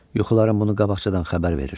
Yuxularım bunu qabaqcadan xəbər verir.